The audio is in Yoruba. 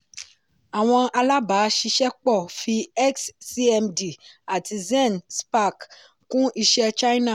àwọn alábàáṣiṣẹ́pọ̀ fi xcmd àti zen spark kún iṣẹ́ china.